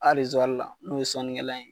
Hali zori la n'o ye sɔnnikɛlan ye.